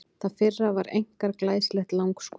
Það fyrra var einkar glæsilegt langskot.